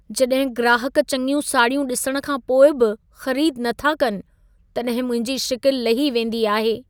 जॾहिं ग्राहक चङियूं साड़ियूं ॾिसण खां पोइ बि ख़रीद न था कनि, तॾहिं मुंहिंजी शिकिलु लही वेंदी आहे।